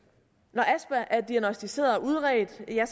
når astma er diagnosticeret og udredt er